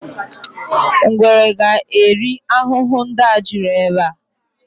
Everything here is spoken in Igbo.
Ngwere ga eri ahụhụ ndị a juru ebe a